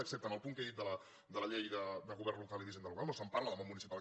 excepte en el punt que he dit de les lleis de govern local i d’hisenda local no se’n parla del món municipal